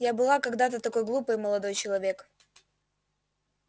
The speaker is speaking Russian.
я была когда-то такой глупой молодой человек